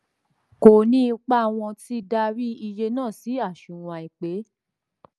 kò ní ipa wọ́n ti darí iye náà sí aṣunwon àìpẹ̀.